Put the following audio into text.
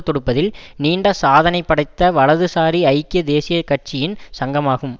தொடுப்பதில் நீண்ட சாதனை படைத்த வலது சாரி ஐக்கிய தேசிய கட்சியின் சங்கமாகும்